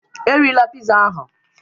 Erila pizza ahụ